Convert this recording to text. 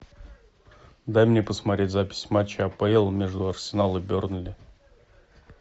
дай мне посмотреть запись матча апл между арсенал и бернли